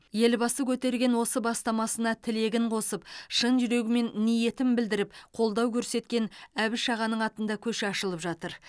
елбасы көтерген осы бастамасына тілегін қосып шын жүрегімен ниетін білдіріп қолдау көрсеткен әбіш ағаның атында көше ашылып жатыр